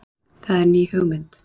Það er ný hugmynd